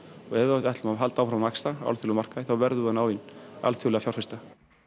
og ef við ætlum að halda áfram að vaxa á alþjóðlegum markaði þá verðum við að ná í alþjóðlega fjárfesta